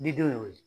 Ni don y'o ye